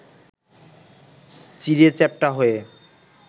চিঁড়ে চ্যাপ্টা হয়ে